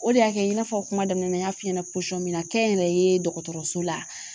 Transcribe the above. O de y'a kɛ i n'a fɔ kuma daminɛ na n y'a f'i ɲɛna posɔn min na kɛnyɛrɛye dɔgɔtɔrɔso la